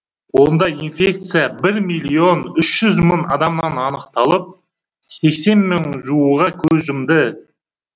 онда инфекция бір миллион үш жүз мың адамнан анықталып сексен мыңға жуығы көз жұмды